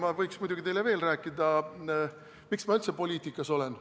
Ma võiks muidugi teile veel rääkida, miks ma üldse poliitikas olen.